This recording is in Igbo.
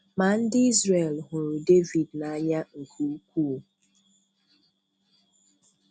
Mà ndị̀ Izrel hụrụ̀ Dèvìd n’anyà nké ukwuù.